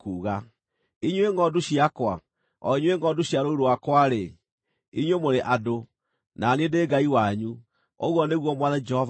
Inyuĩ ngʼondu ciakwa, o inyuĩ ngʼondu cia rũũru rwakwa-rĩ, inyuĩ mũrĩ andũ, na niĩ ndĩ Ngai wanyu, ũguo nĩguo Mwathani Jehova ekuuga.’ ”